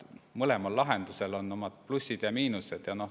Mõlemal lahendusel on omad plussid ja miinused.